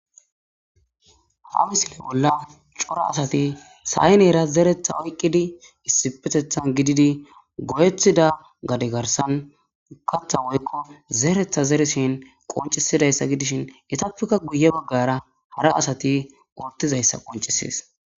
Ha misile bolla cora asati sayneera zeretha oyqqidi issipetethan gididi goyethida gade garsan katha woykko zeretha zereshin qoncisidayssa gidishin itappeka guye baggara hara asati wortizayssa qoncisees